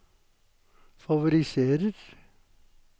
favoriserer